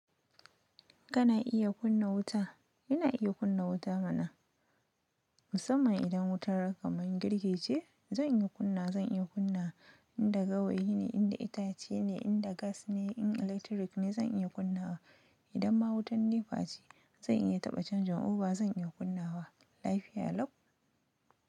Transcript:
Kana iya kunna wuta? Ina iya kunna wuta mana. Musamman idan wutar kamun girki ce, zan iya kunna, zan iya kunna. Inda gawayi ne, inda itace ne, inda gas ne, in electric ne zan iya kunnawa. Idan ma wutan NEPA ce, zan iya taɓa changing over zan iya kunnawa. Lafiya lau.